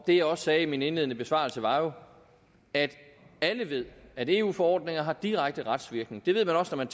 det jeg sagde i min indledende besvarelser var at alle jo ved at eu forordninger har direkte retsvirkning det ved man også når man